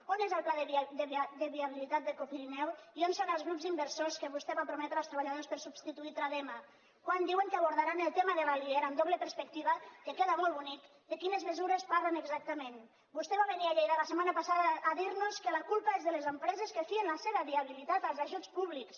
on és el pla de viabilitat de copirineo i on són els grups inversors que vostè va prometre als treballadors per a substituir tradema quan diuen que abordaran el tema de l’alier amb doble perspectiva que queda molt bonic de quines mesures parlen exactament vostè va venir a lleida la setmana passada a dir nos que la culpa és de les empreses que fien la seva viabilitat als ajuts públics